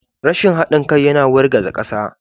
Rashin haɗin kai yana wargaza ƙasa.